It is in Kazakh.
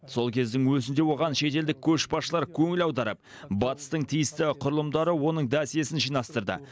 сол кездің өзінде оған шетелдік көшбасшылар көңіл аударып батыстың тиісті құрылымдары оның досьесін жинастырды